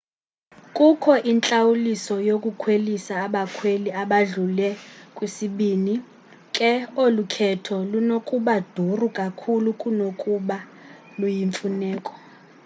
kukho intlawuliso yokukhwelisa abakhweli abadlule ku-2 ke olu khetho lunokuba duru kakhulu kunokuba luyimfuneko